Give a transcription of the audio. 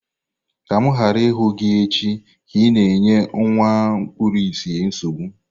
Ka m ghara ịhụ gị echi ka ị na-enye nwa kpuru ìsì nsogbu!